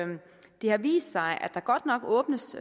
har vist sig at der godt nok åbnes